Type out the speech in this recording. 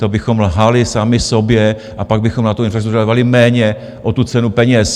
To bychom lhali sami sobě a pak bychom na tu infrastrukturu dávali méně o tu cenu peněz.